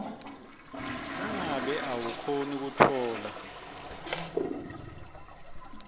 nangabe awukhoni kutfola